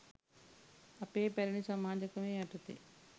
අපේ පැරණි සමාජ ක්‍රමය යටතේ